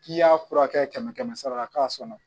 K'i y'a furakɛ kɛmɛ kɛmɛ sara la k'a sɔnna